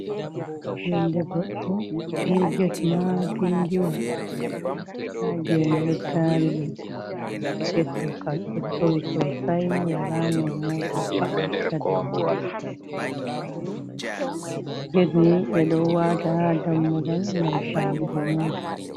Yonde goɗɗo be get maapindiwa. Nda geene ɗo taari ɗum, amma get ɗo ga ɗo towi sosai, wala no mota va’ata do mai saala. Get ni ɓe ɗo waata haa dammugal ngam saalugo mota.